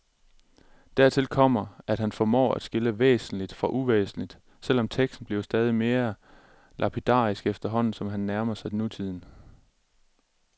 Dertil kommer, at han formår at skille væsentligt fra uvæsentligt, selv om teksten bliver stadig mere lapidarisk efterhånden, som han nærmer sig nutiden.